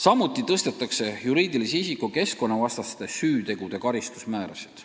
Samuti tõstetakse juriidilise isiku keskkonnavastaste süütegude eest rakendatavaid karistusmäärasid.